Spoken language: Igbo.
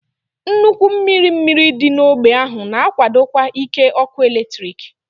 Nnukwu mmiri mmiri dị n'ógbè ahụ na-akwadokwa ike ọkụ eletrik.